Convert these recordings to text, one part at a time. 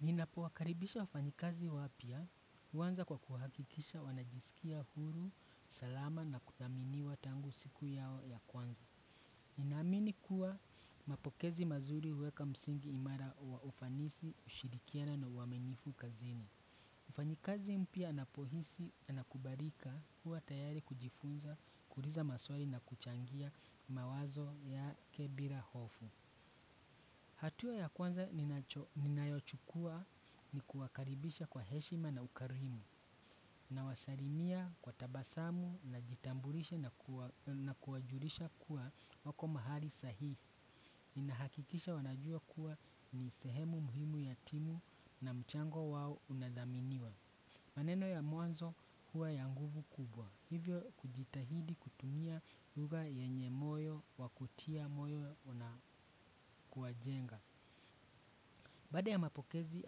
Ninapo wakaribisha wafanyikazi wapya, uwanza kwa kuhakikisha wanajisikia huru, salama na kuthaminiwa tangu siku yao ya kwanza. Ninamini kuwa mapokezi mazuri uweka msingi imara wa ufanisi, ushirikiana na uaminifu kazini. Mfanyikazi mpya anapohisi anakubalika huwa tayari kujifunza, kuuliza maswali na kuchangia mawazo yake bila hofu. Hatua ya kwanza ninayochukua ni kuwakaribisha kwa heshima na ukarimu, nawasalimia kwa tabasamu najitambulisha na kuwajulisha kuwa wako mahali sahii. Ninahakikisha wanajua kuwa ni sehemu muhimu yatimu na mchango wao unadhaminiwa. Maneno ya mwanzo huwa ya nguvu kubwa, hivyo kujitahidi kutumia lugha yenye moyo wakutia moyo unakuwa jenga. Baada ya mapokezi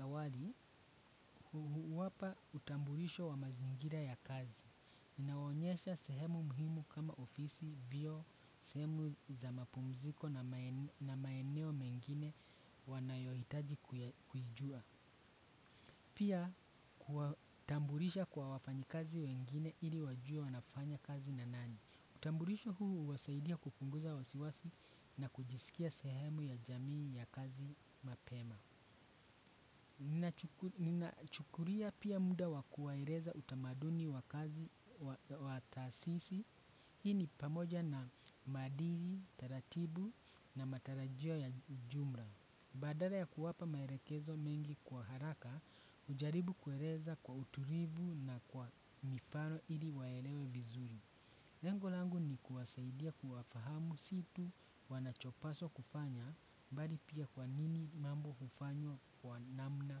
awali, huwapa utambulisho wa mazingira ya kazi. Ninawaonyesha sehemu muhimu kama ofisi, vio, sehemu za mapumziko na maeneo mengine wanayohitaji kujua. Pia, kuwatambulisha kwa wafanyakazi wengine ili wajue wanafanya kazi na nani. Utambulisho huu huwasaidia kupunguza wasiwasi na kujisikia sehemu ya jamii ya kazi mapema. Ninachukulia pia muda wakuwaeleza utamaduni wa kazi wa taasisi hii ni pamoja na madili, taratibu na matarajio ya jumla. Badala ya kuwapa maelekezo mengi kwa haraka ujaribu kueleza kwa utulivu na kwa mifano ili waelewe vizuri. Lengo langu ni kuwasaidia kufahamu si tu wanachopaswa kufanya pali pia kwa nini mambo hufanywa kwa namna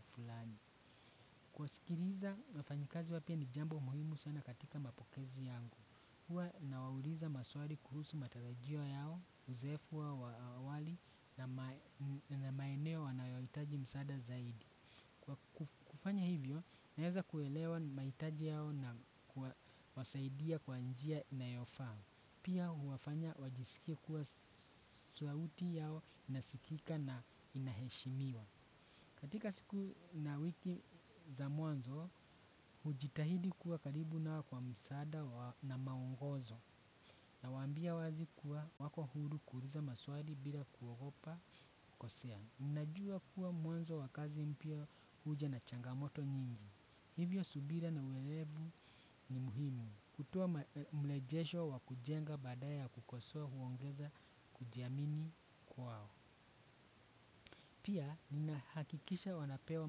fulani. Kwa sikiliza, wafanyikazi wapya ni jambo muhimu sana katika mapokezi yangu. Huwa nawauliza maswali kuhusu matarajio yao, uzoefu wao wa awali na maeneo wanayoitaji msaada zaidi. Kwa kufanya hivyo, naeza kuelewa mahitaji yao na kuwasaidia kwa njia inayofaa. Pia huwafanya wajisikia kuwa sauti yao inasikika na inaheshimiwa. Katika siku na wiki za mwanzo, hujitahidi kuwa karibu na wao kwa msaada na maongozo. Nawambia wazi kuwa wako huru kuuliza maswali bila kuogopa kukosea ninajua kuwa mwanzo wa kazi mpya huja na changamoto nyingi. Hivyo subira na uwelevu ni muhimu. Kutua mlejesho wa kujenga badala kukosoa huongeza kujiamini kwao. Pia ninahakikisha wanapewa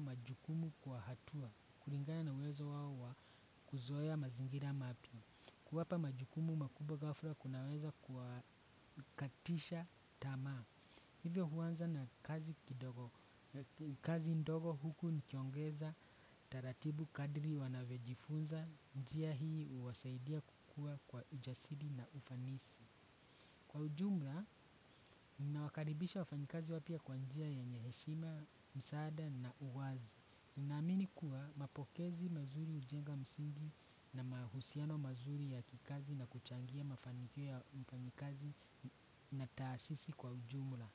majukumu kwa hatua. Kulingana na uwezo wao wa kuzoea mazingira mapya. Kuwapa majukumu makuwa ghafla kunaweza kuwakatisha tama. Hivyo huanza na kazi ndogo huku nikiongeza, taratibu kadiri wanavyojifunza, njia hii kuwasaidia kukua kwa ujasiri na ufanisi. Kwa ujumla, nawakaribisha wafanyikazi wapya kwa njia yenye heshima, msaada na uwazi. Ninaamini kuwa mapokezi mazuri ujenga msingi na mahusiano mazuri ya kikazi na kuchangia mafanikio ya ufanyikazi na taasisi kwa ujumla.